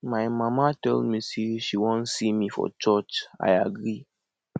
my mama tell me say she wan see me for church i agree